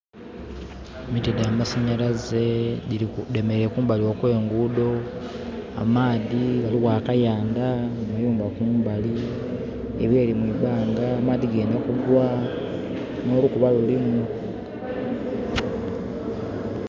Emiti dhamasanyalaze dhemereile kumbali okwengudho amaadhi, ghaligho akayandha, amayumba kumbali, ebireli mu ibanga amadhi gendha kugwa nholukuba lulimu.